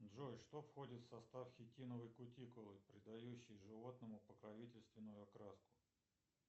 джой что входит в состав хитиновой кутикулы придающей животному покровительственную окраску